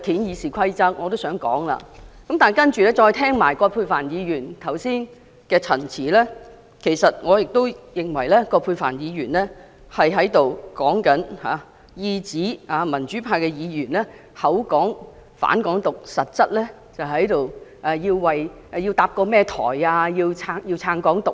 然後，我再聽到葛珮帆議員剛才的陳辭，其實我亦認為葛珮帆議員是在意指民主派議員聲稱反對"港獨"，實質卻是想搭建一個台去支持"港獨"。